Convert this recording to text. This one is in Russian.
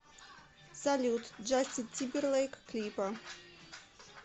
салют джастин тимберлейк клипы